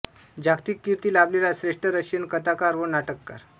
जागतिक कीर्ती लाभलेला श्रेष्ठ रशियन कथाकार व नाटककार